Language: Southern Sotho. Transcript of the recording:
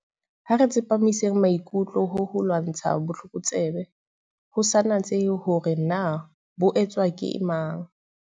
Ha re tsepamiseng maikutlo ho ho lwantsha botlokotsebe, ho sa natsehe hore na bo etswa ke mang.